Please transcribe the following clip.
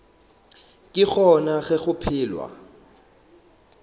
ke gona ge go phelwa